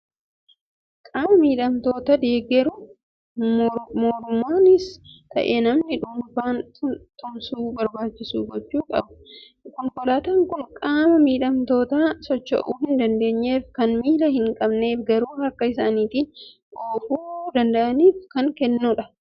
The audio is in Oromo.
Qaama miidhamtoota deeggaruuf moorummaanis ta'e namni dhuunfaan tumsa barbaachisu gochuu qaba. Konkolaataan kun qaama miidhamtoota socho'uu hin dandeenyeef, kan miila hin qabneef garuu harka isaaniitiin oofuu danda'aniif kan kennamu dha.